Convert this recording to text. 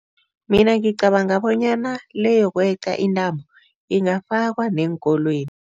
Mina ngicabanga bonyana le yokweqa intambo ingafakwa neenkolweni.